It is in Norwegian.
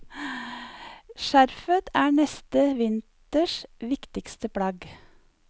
Skjerfet er neste vinters viktigste plagg.